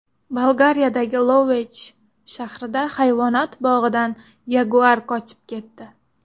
Bolgariyadagi Lovech shahrida hayvonot bog‘idan yaguar qochib ketdi.